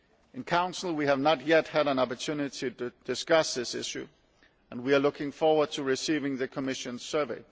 In the Council we have not yet had an opportunity to discuss this issue and we are looking forward to receiving the Commission's survey.